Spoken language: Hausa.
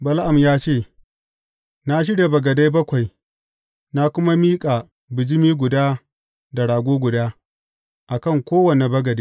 Bala’am ya ce, Na shirya bagadai bakwai, na kuma miƙa bijimi guda da rago guda, a kan kowane bagade.